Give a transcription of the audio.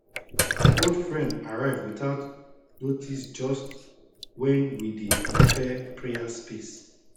old friend arrive without noticejust when we dey prepare prayer space